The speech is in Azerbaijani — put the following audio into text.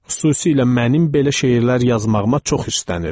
Xüsusilə mənim belə şeirlər yazmağıma çox üstənirdi.